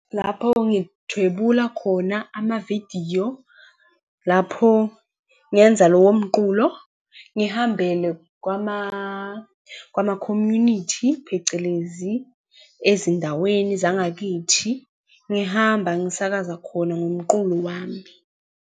Lapho ngithwebula khona amavidiyo, lapho ngenza lowo mqulo, ngihambele kwama-community, phecelezi ezindaweni zangakithi, ngihamba ngisakaza khona ngomqulo wami.